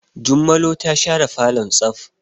Jummalo ta share falon tsaf.